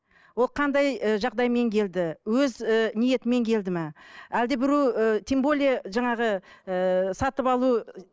ол қандай ы жағдаймен келді өз ііі ниетімен келді ме әлде бір тем более жаңағы ыыы сатып алу